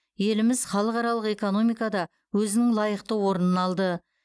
еліміз халықаралық экономикада өзінің лайықты орнын алды